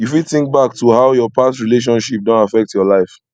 you fit think back to how your past relationship don affect your life